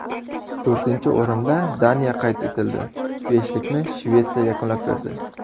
To‘rtinchi o‘rinda Daniya qayd etildi, beshlikni Shvetsiya yakunlab berdi.